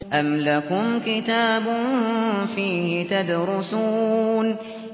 أَمْ لَكُمْ كِتَابٌ فِيهِ تَدْرُسُونَ